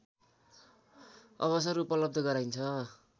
अवसर उपलब्ध गराइन्छ